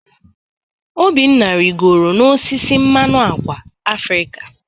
Obinna rịgoro n'osisi mmanụ ákwà Afrịka.